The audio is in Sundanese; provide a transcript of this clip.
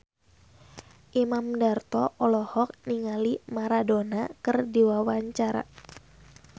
Imam Darto olohok ningali Maradona keur diwawancara